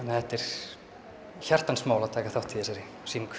þetta er hjartans mál að taka þátt í þessari sýningu